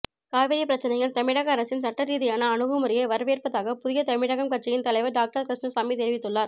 காவிரி பிரச்சனையில் தமிழக அரசின் சட்ட ரீதியான அணுகுமுறையை வரவேற்பதாக புதிய தமிழகம் கட்சியின் தலைவர் டாக்டர் கிருஷ்ணசாமி தெரிவித்துள்ளார்